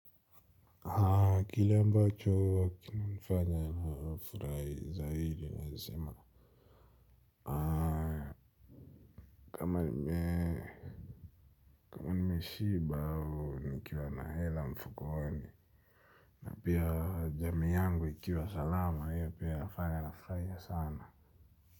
Kile ambacho huwa kina nifanya na hafurahi zaidi naeza sema. Kama nimeshiba au nikiwa na hela mfukoni na pia jamii yangu ikiwa salama hiyo pia inafanya na furahia sana.